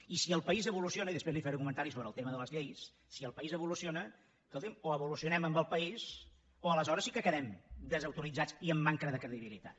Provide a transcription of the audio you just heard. i si el país evoluciona i després li faré un comentari sobre el tema de les lleis escolti’m o evolucionem amb el país o aleshores sí que quedem desautoritzats i amb manca de credibilitat